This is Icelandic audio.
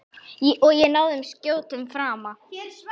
Og náði skjótum frama.